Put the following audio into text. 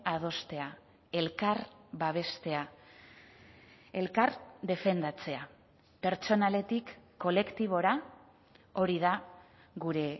adostea elkar babestea elkar defendatzea pertsonaletik kolektibora hori da gure